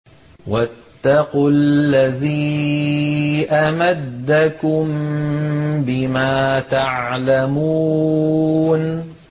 وَاتَّقُوا الَّذِي أَمَدَّكُم بِمَا تَعْلَمُونَ